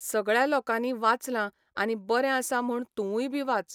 सगळ्या लोकांनीं वाचलां आनी बरें आसा म्हूण तुवूंय बी वाच.